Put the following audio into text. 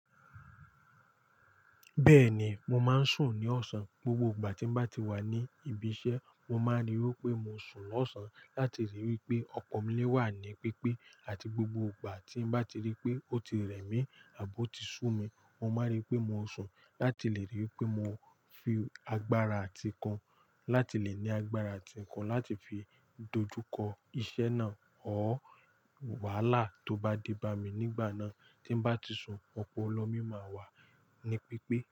Bẹ́ẹ̀ ni, mo máa ń sùn ní ọ̀sán. Gbogbo ìgbà tí mo bá ti wà ní ibi iṣẹ́, mo máa rí i pé mo sùn lọ́sàn-án láti lè rí i pé ọ̀pọ̀lo mí lé wà ní pípé. Àti gbogbo ìgbà tí mo bá ti rí i pé ó ti rẹ̀ mí àbọ́ ti sú mi, mo máa rí i pé mo sùn láti lè rí i pé mo fi agbára ati okun láti lè ní agbára ati okun láti fi dojú kọ iṣẹ́ náà. Ór, wàhálà tó bá dé bá mi nígbà náà tí n bá ti sùn, ọ̀pọ̀lọ́ mí máa wà ní pípé.